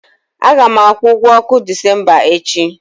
A ga m akwụ ụgwọ ọkụ Disemba echi.